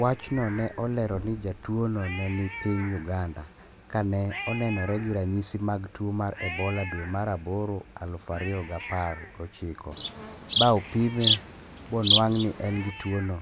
wachno ne olero ni jatuo no ne ni piny Uganda. ka ne onenore gi ranyisi mag tuo mar Ebola dwe mar aboro aluf ariyo g apar gi ochiko. ba opime bo nuang' ni en gi tuwo no.